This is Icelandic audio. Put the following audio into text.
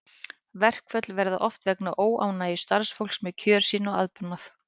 Verkföll verða oft vegna óánægju starfsfólks með kjör sín og aðbúnað.